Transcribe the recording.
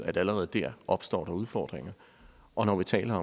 at der allerede der opstår udfordringer og når vi taler